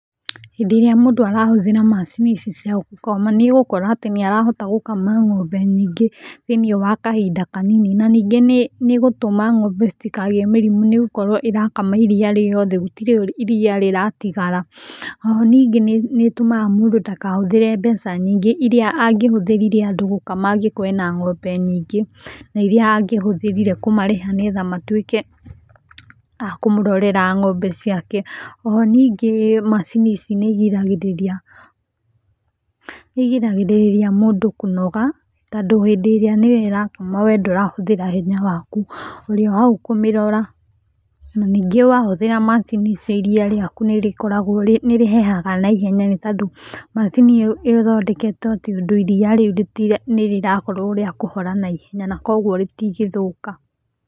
Hĩndĩ ĩrĩa mũndũ arahũthĩra macini ici cia gũkama nĩ ũgũkora atĩ nĩ arahota gũkama ngombe nyingĩ, thĩinĩ wa kahinda kanini, na ningĩ nĩ ĩgũtũma ng'ombe citikagĩe mĩrimũ, nĩgũkorwo ĩrakama iria riothe gũtirĩ iria rĩratigara. O ho ningĩ, nĩ ĩtũmaga mũndũ ndakahũthĩre mbeca nyingĩ irĩa angĩhũthĩrire andũ gũkama angĩkorwo ena ng'ombe nyingĩ, na irĩa angĩhũthĩrire kũmarĩhe nĩgetha matuĩke, a kũmũrorera ng'ombe ciake. O ho ningĩ, macini ici nĩ igiragĩrĩria mũndũ kũnoga tondũ hĩndĩ ĩrĩa nĩyo ĩrakama we ndũrahũthĩra hinya waku ũrio hau kũmĩrora. Na ningĩ wahũthĩra macini ici iria riaku nĩ rĩkoragwo nĩ rĩhehaga naihenya nĩtondũ macini ĩyo ĩthondeketwo atĩ ũndũ iria rĩu nĩ rĩrakorwo rĩa kũhora naihenya na kwoguo rĩtigĩthũka.